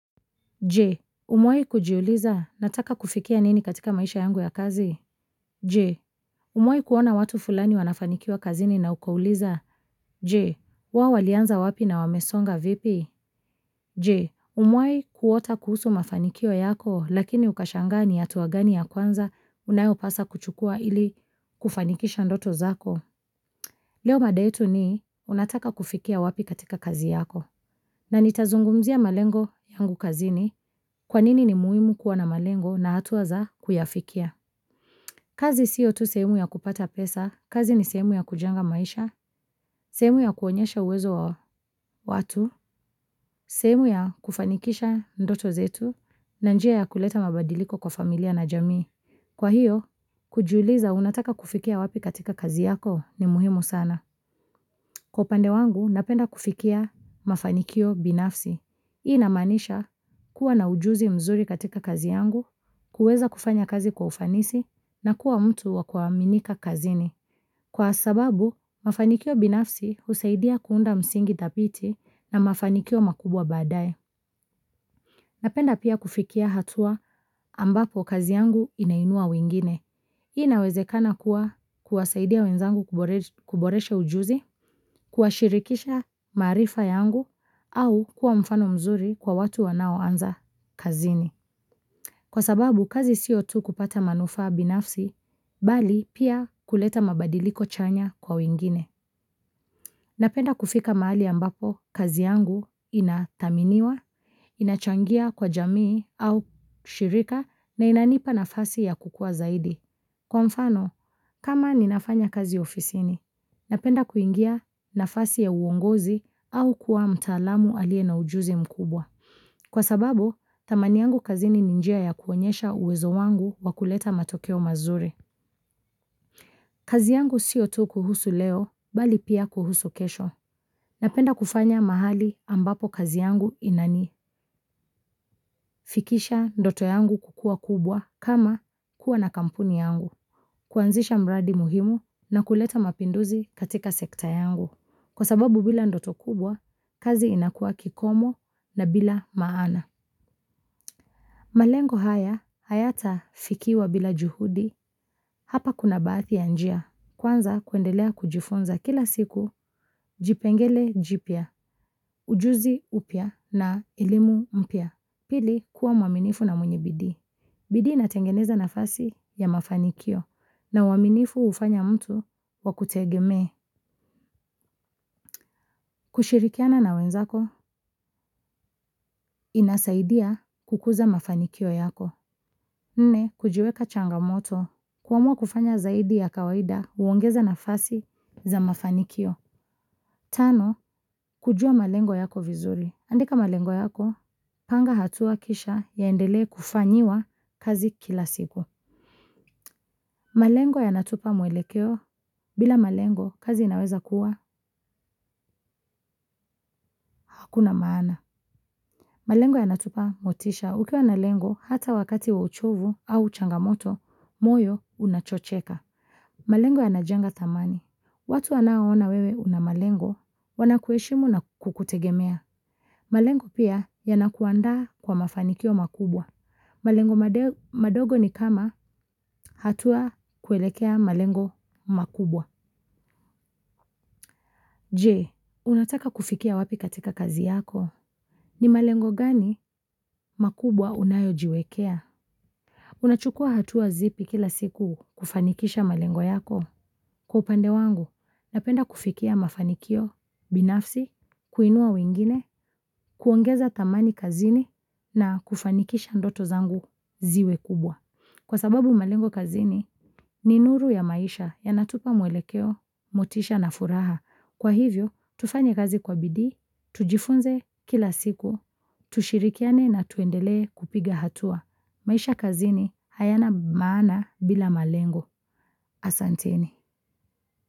Je, umewai kujiuliza nataka kufikia nini katika maisha yangu ya kazi? Je, umewai kuona watu fulani wanafanikiwa kazini na ukauliza? Je, wao walianza wapi na wamesonga vipi? Je, umewai kuota kuhusu mafanikiwa yako lakini ukashangaa ni hatua gani ya kwanza unayopasa kuchukua ili kufanikisha ndoto zako? Leo mada yetu ni, unataka kufikia wapi katika kazi yako. Na nitazungumzia malengo yangu kazini kwa nini ni muhimu kuwa na malengo na hatua za kuyafikia. Kazi sio tu sehemu ya kupata pesa, kazi ni sehemu ya kujenga maisha, sehemu ya kuonyesha uwezo watu, sehemu ya kufanikisha ndoto zetu, na njia ya kuleta mabadiliko kwa familia na jamii. Kwa hiyo, kujuliza unataka kufikia wapi katika kazi yako ni muhimu sana. Kwa upande wangu, napenda kufikia mafanikio binafsi. Hii inamaanisha kuwa na ujuzi mzuri katika kazi yangu, kuweza kufanya kazi kwa ufanisi, na kuwa mtu wa kuaminika kazini. Kwa sababu, mafanikio binafsi husaidia kuunda msingi dhabiti na mafanikio makubwa baadaye. Napenda pia kufikia hatua ambapo kazi yangu inainua wengine. Hii inawezekana kuwa kuwasaidia wenzangu kuboresha ujuzi, kuwashirikisha maarifa yangu, au kuwa mfano mzuri kwa watu wanaoanza kazini. Kwa sababu, kazi sio tu kupata manufaa binafsi, bali pia kuleta mabadiliko chanya kwa wengine. Napenda kufika mahali ambapo, kazi yangu inathaminiwa, inachangia kwa jamii au shirika, na inanipa nafasi ya kukua zaidi. Kwa mfano, kama ninafanya kazi ofisini, napenda kuingia nafasi ya uongozi au kuwa mtaalamu aliye na ujuzi mkubwa. Kwa sababu, thamani yangu kazini ni njia ya kuonyesha uwezo wangu wa kuleta matokeo mazuri. Kazi yangu sio tu kuhusu leo, bali pia kuhusu kesho. Napenda kufanya mahali ambapo kazi yangu inani. Fikisha ndoto yangu kukua kubwa kama kuwa na kampuni yangu. Kuanzisha mradi muhimu na kuleta mapinduzi katika sekta yangu. Kwa sababu bila ndoto kubwa, kazi inakua kikomo na bila maana. Malengo haya, hayata fikiwa bila juhudi hapa kuna baadhi ya njia. Kwanza kuendelea kujifinza kila siku, jipengele jipya, ujuzi upya na elimu mpya. Pili, kuwa mwaminifu na mwenye bidi. Bidi inatengeneza nafasi ya mafanikio na uaminifu ufanya mtu wakutegemee. Kushirikiana na wenzako, inasaidia kukuza mafanikio yako. Nne, kujiweka changamoto kuamua kufanya zaidi ya kawaida huongeza nafasi za mafanikio. Tano, kujua malengo yako vizuri. Andika malengo yako, panga hatua kisha yaendelee kufanyiwa kazi kila siku. Malengo yanatupa mwelekeo, bila malengo kazi inaweza kuwa hakuna maana. Malengo yanatupa motisha ukiwa na lengo hata wakati wa uchovu au changamoto, moyo unachocheka. Malengo yanajenga thamani. Watu wanao ona wewe una malengo, wanakuheshimu na kukutegemea. Malengo pia yanakuandaa kwa mafanikio makubwa. Malengo madogo ni kama hatua kuelekea malengo makubwa. Je, unataka kufikia wapi katika kazi yako? Ni malengo gani makubwa unayo jiwekea? Unachukua hatua zipi kila siku kufanikisha malengo yako. Kwa upande wangu, napenda kufikia mafanikio, binafsi, kuinua wengine, kuongeza thamani kazini na kufanikisha ndoto zangu ziwe kubwa. Kwa sababu malengo kazini ni nuru ya maisha yanatupa mwelekeo, motisha na furaha. Kwa hivyo, tufanye kazi kwa bidii tujifunze kila siku, tushirikiane na tuendelee kupiga hatua. Maisha kazini hayana maana bila malengo asanteni.